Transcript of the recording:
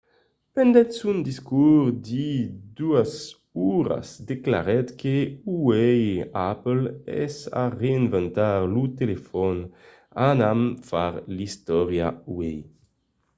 pendent son discors de 2 oras declarèt que uèi apple es a reinventar lo telefòn anam far l'istòria uèi